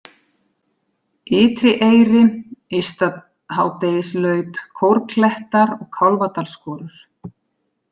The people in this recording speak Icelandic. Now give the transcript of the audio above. Ytrieyri, Ystahádegislaut, Kórklettar, Kálfadalsskorur